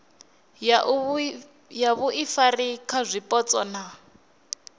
ya vhuifari kha zwipotso na